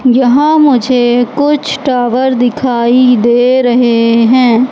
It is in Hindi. यहां मुझे कुछ टावर दिखाई दे रहे हैं।